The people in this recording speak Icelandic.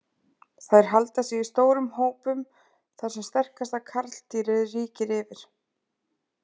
Þær halda sig í stórum hópum þar sem sterkasta karldýrið ríkir yfir.